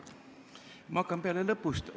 Ma hakkan peale lõpust.